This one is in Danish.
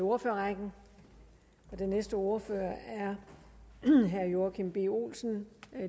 ordførerrækken den næste ordfører er herre joachim b olsen